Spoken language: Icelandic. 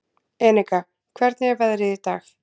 Eneka, hvernig er veðrið í dag?